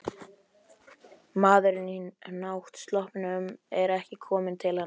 Maðurinn í náttsloppnum er kominn til hans.